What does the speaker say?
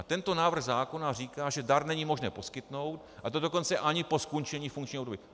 A tento návrh zákona říká, že dar není možné poskytnout, a to dokonce ani po skončení funkčního období.